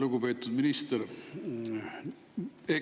Lugupeetud minister!